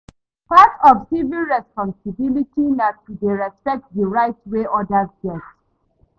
Part of civic responsibility na to dey respect di rights wey odas get